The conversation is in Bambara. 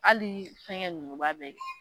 Hali fɛn gɛ numuba be yen